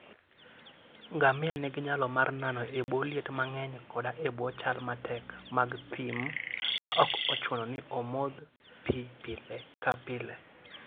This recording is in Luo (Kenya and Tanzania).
Ngamia nigi nyalo mar nano e bwo liet mang'eny koda e bwo chal matek mag thim, maok ochuno ni omodh pi pile ka pile.